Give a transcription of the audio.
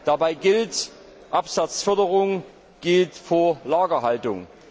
Dabei gilt Absatzförderung geht vor Lagerhaltung.